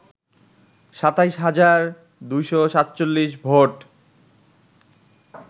২৭ হাজার ২৪৭ ভোট